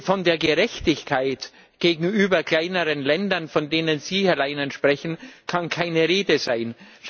Von der Gerechtigkeit gegenüber kleineren Ländern, von denen Sie, Herr Leinen, sprechen, kann keine Rede sein.